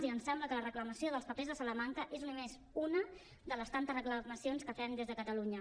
i ens sembla que la reclamació dels papers de salamanca és només una de les tantes reclamacions que fem des de catalunya